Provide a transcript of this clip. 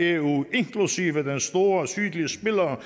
eu inklusive den store sydlige spiller